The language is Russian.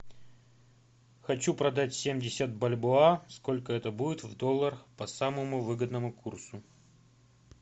хочу продать семьдесят бальбоа сколько это будет в долларах по самому выгодному курсу